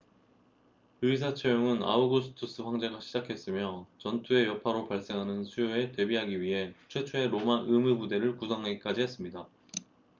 의사 채용은 아우구스투스 황제가 시작했으며 전투의 여파로 발생하는 수요에 대비하기 위해 최초의 로마 의무 부대를 구성하기까지 했습니다